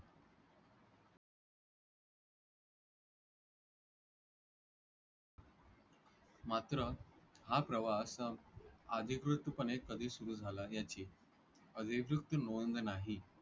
मात्र हा प्रवास अधिकृतपणे कधी सुरू झाला याची नोंद नाही.